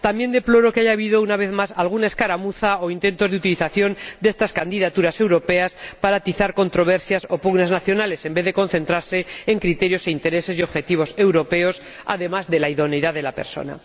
También deploro que haya habido, una vez más, alguna escaramuza o intento de utilización de estas candidaturas europeas para atizar controversias o pugnas nacionales, en vez de concentrarse en criterios e intereses y objetivos europeos, además de en la idoneidad de la persona.